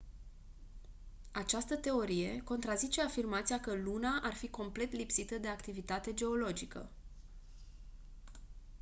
această teorie contrazice afirmația că luna ar fi complet lipsită de activitate geologică